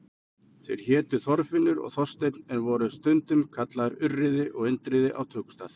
Þeir hétu Þorfinnur og Þorsteinn en voru stundum kallaðir Urriði og Indriði á tökustað.